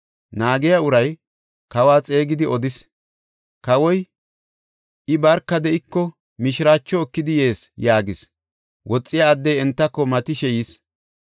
Naagiya uray kawa xeegidi odis. Kawoy, “I barka de7iko, mishiraacho ekidi yees” yaagis. Woxiya addey entako matishe yis.